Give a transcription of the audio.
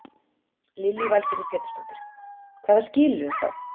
Lillý Valgerður Pétursdóttir: Hvaða skilyrðum þá?